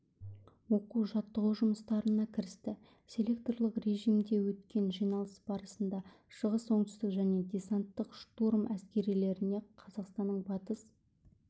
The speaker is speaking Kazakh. оқу-жаттығу жұмыстарына кірісті селекторлық режимде өткен жиналыс барысында шығыс оңтүстік және десанттық-штурм әскерилеріне қазақстанның батыс